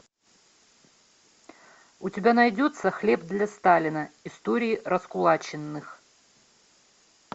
у тебя найдется хлеб для сталина истории раскулаченных